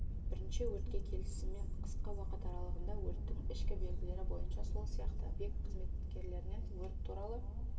бірінші өртке келісімен қысқа уақыт аралығында өрттің ішкі белгілері бойынша сол сияқты объект қызметкерлерінен өрт туралы